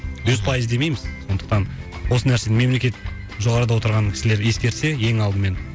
жүз пайыз демейміз сондықтан осы нәрсені мемлекет жоғарыда отырған кісілер ескерсе ең алдымен